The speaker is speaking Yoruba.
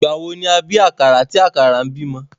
Ìgbà wo ni a bí àkàrà tí àkàrà ń bímọ?